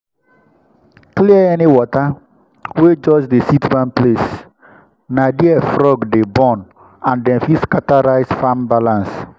clear any water wey just dey sit one place—na there frog dey born and dem fit scatter rice farm balance.